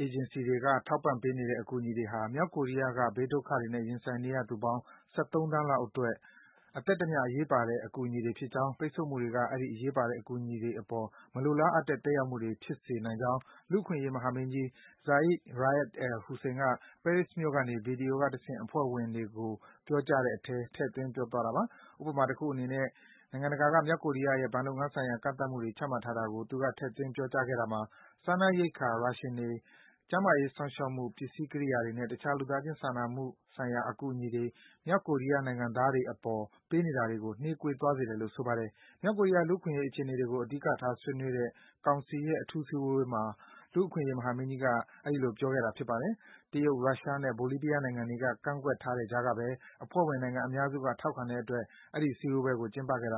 အဖွဲ့အေဂျင်စီတွေက ထောက်ပံ့ပေးနေတဲ့ အကူအညီတွေဟာ မြောက်ကိုရီးယားနိုင်ငံက ဘေးဒုက္ခတွေနဲ့ ရင်ဆိုင်နေရသူပေါင်း ၁၃ သန်းလောက်အတွက် အသက်တမျှ အရေးပါတဲ့ အကူအညီတွေဖြစ်ကြောင်း၊ ပိတ်ဆို့မှုတွေက အဲဒီ အရေးပါတဲ့ အကူအညီတွေအပေါ် မလိုလားအပ်တဲ့ သက်ရောက်မှုတွေ ဖြစ်စေနိုင်ကြောင်း လူ့အခွင့်အရေး မဟာမင်းကြီး Zeid Ra’ad al-Hussein က ပဲရစ်မြို့ကနေ ဗွီဒီယိုကတဆင့် အဖွဲ့ဝင်နိုင်ငံတွေကို ပြောကြားတဲ့အထဲ ထည့်သွင်း ပြောဆိုသွားတာပါ။ ဥပမာတခုအနေနဲ့ နိုင်ငံတကာ မြောက်ကိုရီးယားရဲ့ ဘဏ်လုပ်ငန်းဆိုင်ရာ ကန့်သတ်မှုတွေ ချမှတ်ထားတာကို သူက ထဲ့သွင်း ပြောကြားခဲ့တာမှာ စားနပ်ရိက္ခာ Ration တွေ၊ ကျန်းမာရေးစောင့်ရှောက်မှု ပစ္စည်းကိရိယာတွေနဲ့ တခြား လူသားချင်း စာနာမှုဆိုင်ရာ အကူအညီတွေ မြောက်ကိုရီးယား နိုင်ငံသားတွေအပေါ် ပေးနေတာတွေကို နှေးကွေးသွားစေတယ်လို့ ဆိုပါတယ်။ မြောက်ကိုရီးယား လူ့အခွင့်အရေးအခြေအနေတွေကို အဓိကထား ဆွေးနွေးတဲ့ ကောင်စီရဲ့ အထူး စည်းဝေးပွဲမှာ လူ့အခွင့်အရေး မဟာမင်းကြီးက ပြောကြားခဲ့တာ ဖြစ်ပါတယ်။ တရုတ်၊ ရုရှားနဲ့ ဘိုလီးဗီးယားနိုင်ငံတွေက ကန့်ကွက်ထားတဲ့ကြားကဘဲ အဖွဲ့ဝင် နိုင်ငံ အများစုက ထောက်ခံတဲ့အတွက် စည်းဝေးပွဲကို ကျင်းပခဲ့တာ